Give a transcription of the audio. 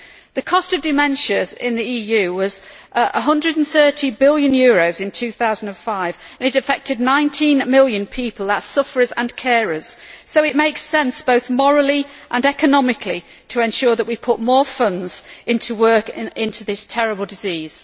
The cost of dementias in the EU was EUR 130 billion in 2005 and it affected 19 million people that is, sufferers and carers. So it makes sense, both morally and economically, to ensure that we put more funds into work into this terrible disease.